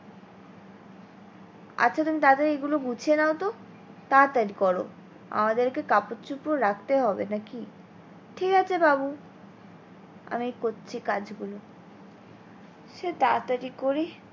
আচ্ছা তুমি তাড়াতাড়ি এইগুলো গুছিয়ে নাও তো তাড়াতাড়ি করো আমাদের কে কাপড় চোপড় রাখতে হবে নাকি, ঠিক আছে বাবু আমি করছি কে গুলো সে তাতাড়ি করে